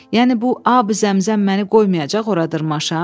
Yəni bu Ab-i Zəmzəm məni qoymayacaq ora dırmaşam?